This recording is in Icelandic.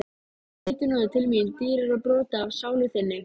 Þú veitir núna til mín dýrara broti af sálu þinni.